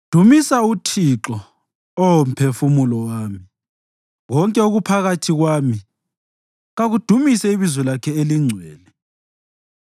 Dumisa uThixo, Oh mphefumulo wami; konke okuphakathi kwami, kakudumise ibizo lakhe elingcwele.